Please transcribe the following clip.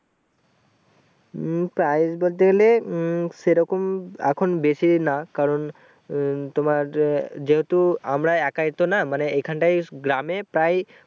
উম price বলতে গেলে উম সেইরকম এখন বেশি না কারণ তোমার আহ যেহুতু আমরা একাই তো না মানে এখানটাই গ্রামে প্রায়ই